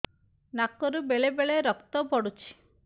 ନାକରୁ ବେଳେ ବେଳେ ରକ୍ତ ପଡୁଛି